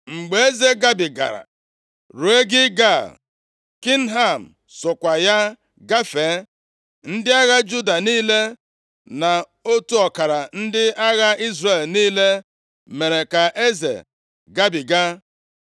Mgbe eze gabigara ruo Gilgal, Kimham sokwa ya gafee. Ndị agha Juda niile na otu ọkara ndị agha Izrel niile mere ka eze gabiga.